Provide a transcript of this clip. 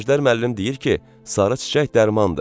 Əjdər müəllim deyir ki, sarı çiçək dərmandır.